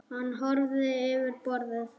Hann horfði yfir borðið.